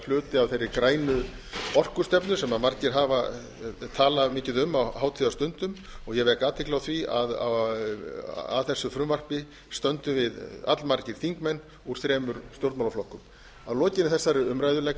hluti af þeirri grænu orkustefnu sem margir hafa talað mikið um á hátíðarstundum og ég vek athygli á því að að þessu frumvarpi stöndum við allmargir þingmenn úr þremur stjórnmálaflokkum að lokinni þessari umræðu legg